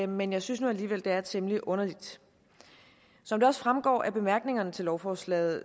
men jeg synes nu alligevel det er temmelig underligt som det også fremgår af bemærkningerne til lovforslaget